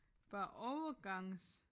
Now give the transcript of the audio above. Var overgangs